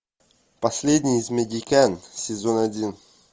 последний из магикян сезон один